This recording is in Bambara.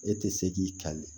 E tɛ se k'i kali